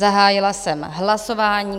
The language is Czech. Zahájila jsem hlasování.